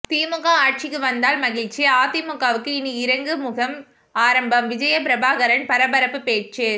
திமுக ஆட்சிக்கு வந்தால் மகிழ்ச்சி அதிமுகவுக்கு இனி இறங்கு முகம் ஆரம்பம் விஜய பிரபாகரன் பரபரப்பு பேச்சு